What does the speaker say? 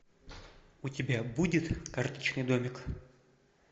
у тебя будет карточный домик